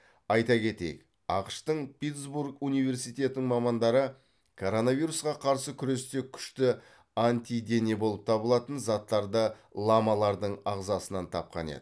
айта кетейік ақш тың питтсбург университетінің мамандары коронавирусқа қарсы күресте күшті антидене болып табылатын заттарды ламалардың ағзасынан тапқан еді